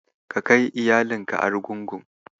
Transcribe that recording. Ka kai iyalinka Argungu.